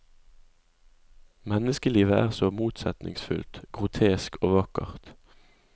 Menneskelivet er så motsetningsfylt, grotesk og vakkert.